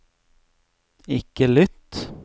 ikke lytt